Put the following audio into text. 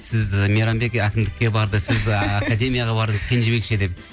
сіз і мейрамбек әкімдікке барды сіз а академияға бардыңыз кенжебек ше деп